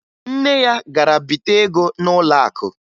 Nne ya gara bite ego n'ụlọakụ